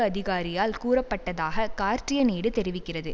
அதிகாரியால் கூறப்பட்டதாக கார்டியன் ஏடு தெரிவிக்கிறது